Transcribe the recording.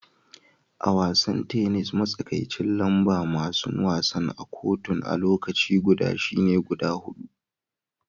A'wasan tenis, matsakaicin lamba masun wasa a'kotun a lokaci guda shine guda hudu.